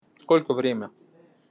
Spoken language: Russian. сколько время